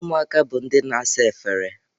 Ụmụaka bụ ndị na-asa efere.